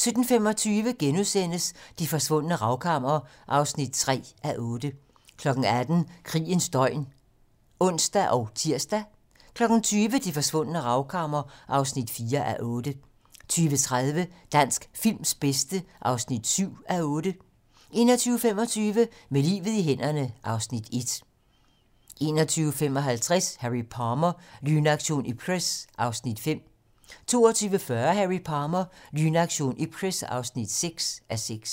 17:25: Det forsvundne ravkammer (3:8)* 18:00: Krigens døgn (ons og tir) 20:00: Det forsvundne ravkammer (4:8) 20:30: Dansk films bedste (7:8) 21:25: Med livet i hænderne (Afs. 1) 21:55: Harry Palmer - Lynaktion Ipcress (5:6) 22:40: Harry Palmer - Lynaktion Ipcress (6:6)